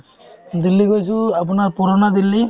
দিল্লী গৈছো আপোনাৰ পুৰণা দিল্লী